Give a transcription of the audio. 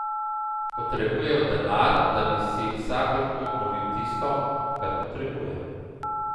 Potrebujejo denar, da bi si vsak lahko obnovil tisto, kar potrebuje.